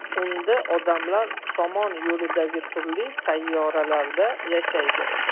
Unda odamlar Somon yo‘lidagi turli sayyoralarda yashaydi.